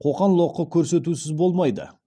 қоқан лоқы көрсетусіз болмайды